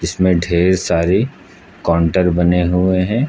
इसमें ढेर सारी काउंटर बने हुए हैं।